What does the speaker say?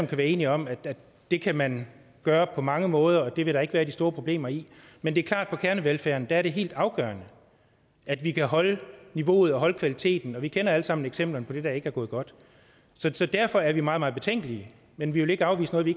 kan være enige om at det kan man gøre på mange måder og at det vil der ikke være de store problemer i men det er klart at til kernevelfærden er det helt afgørende at vi kan holde niveauet og holde kvaliteten vi kender alle sammen eksempler på det der ikke er gået godt så derfor er vi meget meget betænkelige men vi vil ikke afvise noget vi